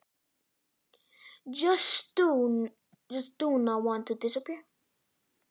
Viltu bara ekki láta þig hverfa?